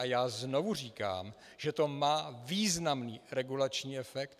A já znovu říkám, že to má významný regulační efekt.